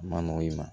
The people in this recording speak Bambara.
A ma nɔgɔ i ma